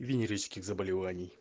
венерических заболеваний